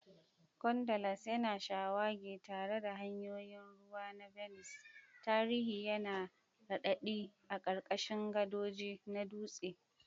Gondolas yana shawagi tare da hanyoyin ruwa na Venice, tarihi yana raɗaɗi a ƙarƙashin gadoji na dutse.